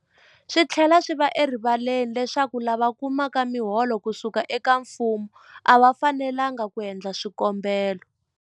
Swi tlhela swi va erivaleni leswaku lava kumaka miholo ku suka eka mfumo a va fanelanga ku endla swikombelo.